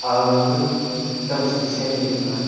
aga kam shing sen nyu thanga.